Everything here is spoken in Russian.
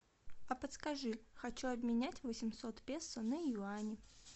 а подскажи хочу обменять восемьсот песо на юани